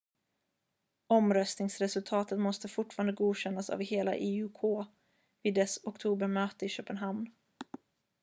omröstningsresultatet måste fortfarande godkännas av hela iok vid dess oktobermöte i köpenhamn